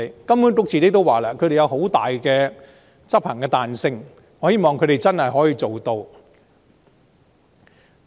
金管局說執行時會有很大的彈性，我希望它真的做到。